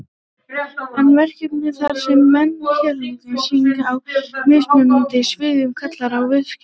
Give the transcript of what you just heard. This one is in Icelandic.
En verkaskipting, þar sem menn sérhæfa sig á mismunandi sviðum, kallar á viðskipti.